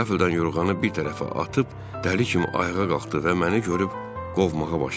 Qəflətən yorğanı bir tərəfə atıb dəli kimi ayağa qalxdı və məni görüb qovmağa başladı.